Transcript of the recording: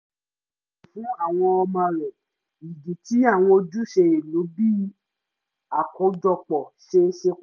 fún àwọn ọmọ rẹ̀ ìdí tí àwọn ojúṣe ìlú bí i àkójọpọ̀ ṣe ṣe